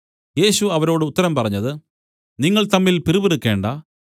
യേശു അവരോട് ഉത്തരം പറഞ്ഞത് നിങ്ങൾ തമ്മിൽ പിറുപിറുക്കേണ്ടാ